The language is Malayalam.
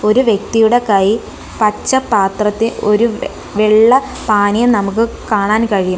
ഒരു വ്യക്തിയുടെ കൈ പച്ച പാത്രത്തിൽ ഒരു വ് വെള്ള പാനീയം നമുക്ക് കാണാൻ കഴിയും.